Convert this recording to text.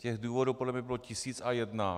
Těch důvodů podle mě bylo tisíc a jeden.